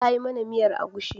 Ta yi mana miyar agushi.